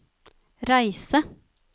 reise